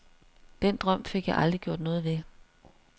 Den drøm fik jeg aldrig gjort noget ved.